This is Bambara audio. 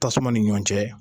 Tasuma ni ɲɔgɔn cɛ.